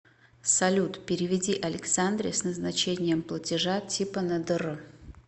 салют переведи александре с назначением платежа типа на др